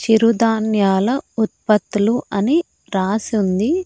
చిరు ధాన్యాల ఉత్పతులు అని రాసుంది.